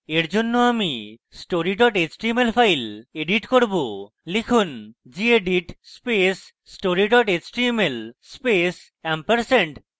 এরজন্য আমি story html file edit করব লিখুন: gedit space story html space ampersand